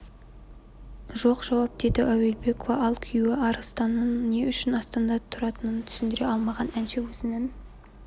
жоқ жауап деді әуелбекова ал күйеуі арыстанның не үшін астанада тұратынын түсіндіре алмаған әнші өзінің